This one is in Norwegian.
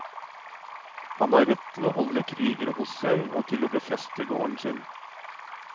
Han har rett til å holde krigere hos seg og til å befeste gården sin.